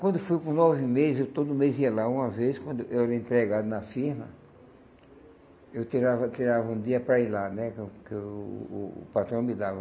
Quando eu fui com nove meses, eu todo mês ia lá uma vez, quando eu era empregado na firma, eu tirava tirava um dia para ir lá, né, que o que o o patrão me dava.